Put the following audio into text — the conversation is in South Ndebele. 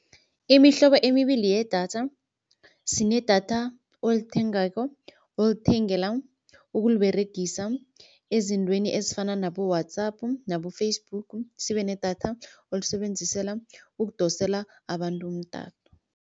Imihlobo emibili yedatha, sinedatha olithengako olithengela ukuliberegisa ezintweni ezifana nabo-WhatsApp nabo-Facebook, sibe nedatha olisebenzisela ukudosela abantu umtato.